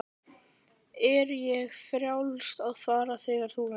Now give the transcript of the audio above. Er þér frjálst að fara þegar þú vilt?